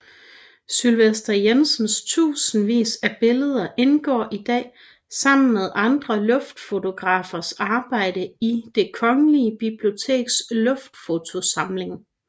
Sylvest Jensens tusindvis af billeder indgår i dag sammen med andre luftfotografers arbejder i Det Kongelige Biblioteks luftfotosamling